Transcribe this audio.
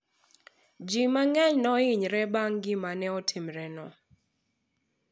ji mang'eny ne ohinyore bang' gima ne otimore no